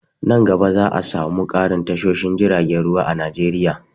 Nan gaba za'a samu ƙarin tashoshin jiragen ruwa a Najeriya.